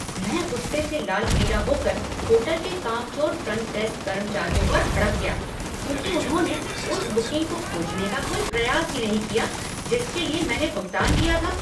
मैं गुस्से से लाल पीला होकर होटल के कामचोर फ्रंट डेस्क कर्मचारियों पर भड़क गया क्योंकि उन्होंने उस बुकिंग को खोजने का कोई प्रयास ही नहीं किया जिसके लिए मैंने भुगतान किया था।